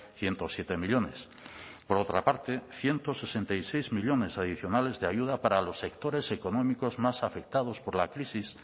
ciento siete millónes por otra parte ciento sesenta y seis millónes adicionales de ayuda para los sectores económicos más afectados por la crisis